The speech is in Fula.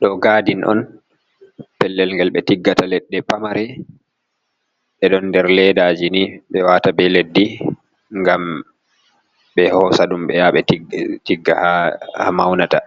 Ɗo gadin on, pellel ngel ɓe tiggata leɗɗe pamare. Ɗe ɗon nder ledaji ni, ɓe wata be leddi, ngam be hosa ɗum ɓe yaha ɓe tigga ha maunata.